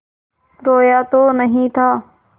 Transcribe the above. रोया तो नहीं था